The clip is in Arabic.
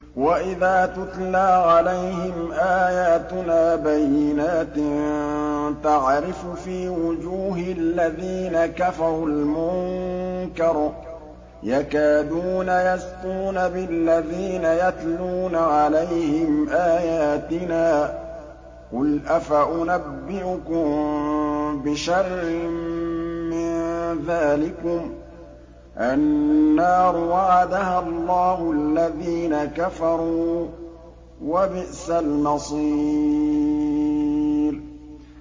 وَإِذَا تُتْلَىٰ عَلَيْهِمْ آيَاتُنَا بَيِّنَاتٍ تَعْرِفُ فِي وُجُوهِ الَّذِينَ كَفَرُوا الْمُنكَرَ ۖ يَكَادُونَ يَسْطُونَ بِالَّذِينَ يَتْلُونَ عَلَيْهِمْ آيَاتِنَا ۗ قُلْ أَفَأُنَبِّئُكُم بِشَرٍّ مِّن ذَٰلِكُمُ ۗ النَّارُ وَعَدَهَا اللَّهُ الَّذِينَ كَفَرُوا ۖ وَبِئْسَ الْمَصِيرُ